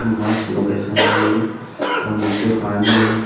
मस्त लोकेशन है ये और नीचे पानी है।